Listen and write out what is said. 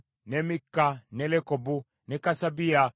ne Mikka, ne Lekobu, ne Kasabiya,